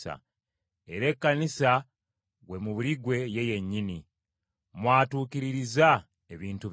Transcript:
era ekkanisa gwe mubiri gwe ye yennyini, mwatuukiririza ebintu byonna.